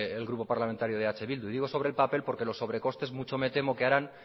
el grupo parlamentario de eh bildu digo sobre el papel porque los sobrecostes harán